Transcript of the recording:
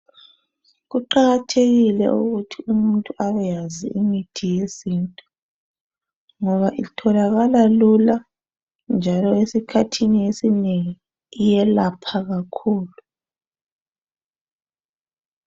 Kuqakathekile ukuthi umuntu abe yazi imithi yesintu ngoba itholakala lula njalo esikhathini esinengi iyelapha kakhulu.